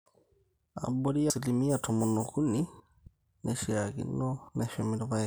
Abori 13% neishiaakino neshumi irrpaek.